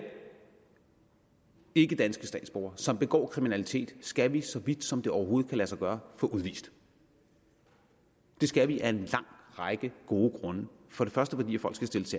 ikkedanske statsborgere som begår kriminalitet skal vi så vidt som det overhovedet kan lade sig gøre få udvist det skal vi af en lang række gode grunde for det første fordi folk skal stilles